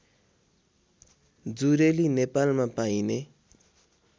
जुरेली नेपालमा पाइने